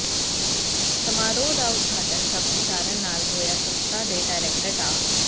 ਸਮਾਰੋਹ ਦਾ ਉਦਘਾਟਨ ਸ਼ਬਦ ਉਚਾਰਨ ਨਾਲ ਹੋਇਆ ਸੰਸਥਾ ਦੇ ਡਾਇਰੈਕਟਰ ਡਾ